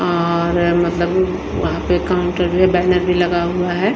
और मतलब वहां पे काउंटर में बैनर भी लगा हुआ है।